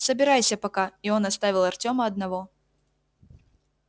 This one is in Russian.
собирайся пока и он оставил артёма одного